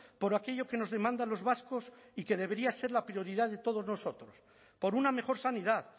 por aquello que nos demandan los vascos y que debería ser la prioridad de todos nosotros por una mejor sanidad